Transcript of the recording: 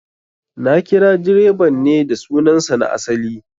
Na kira direban ne da sunan sa na asali